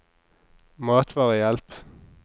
matvarehjelp